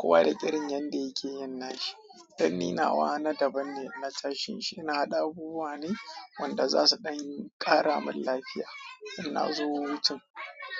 Kowa da irin yanda yake yin nashi. Dan ni nawa, na daban ne na tashin shi, ina haɗa abubuwa ne wanda zasu ɗan kara min lafiya, inna nazo hutun.